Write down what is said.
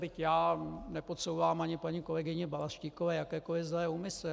Byť já nepodsouvám ani paní kolegyni Balaštíkové jakékoli zlé úmysly.